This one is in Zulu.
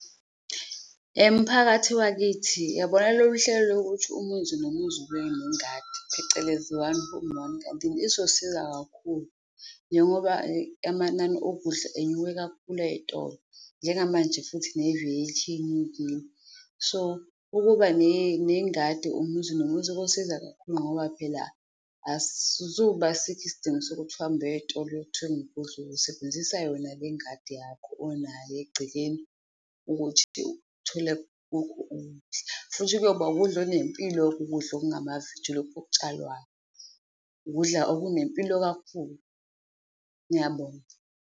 Emphakathi wakithi uyabona lolu hlelo lokuthi umuzi nomuzi ube nengadi phecelezi, one home one garden, izosiza kakhulu njengoba amanani okudla enyuke kakhulu ey'tolo njengamanje futhi naveji inyukile. So ukuba nengadi umuzi nomuzi, kosiza kakhulu ngoba phela asisuzuba bikho isidingo sokuthi uhambe uye eyitolo uyothenga ukudla. Uyosebenzisa yona le ingadi yakho onayo egcekeni ukuthi uthole kukho ukudla. Futhi kuyoba ukudla okunempilo, ukudla okungamaveji lokhu okutshalwayo, ukudla okunempilo kakhulu. Ngiyabonga.